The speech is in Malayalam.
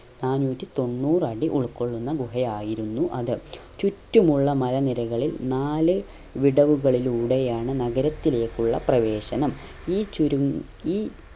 നാന്നൂറ്റി തൊണ്ണൂറ് അടി ഉൾകൊള്ളുന്ന ഗുഹ ആയിരുന്നു അത് ചുറ്റുമുള്ള മല നിരകളിൽ നാല് വിടവുകളിലൂടേയാണ് നഗരത്തിലേക്കുള്ള പ്രവേശനം ഈ ചുരുങ്ങു ഈ